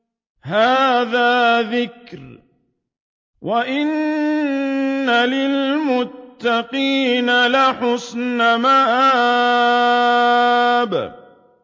هَٰذَا ذِكْرٌ ۚ وَإِنَّ لِلْمُتَّقِينَ لَحُسْنَ مَآبٍ